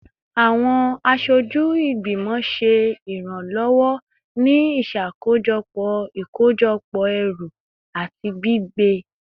Awọn aṣoju igbimọ ṣe iranlọwọ ni iṣakojọpọ ikojọpọ ẹru ati gbigbe